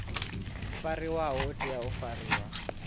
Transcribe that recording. fariwaho u tea u fariwa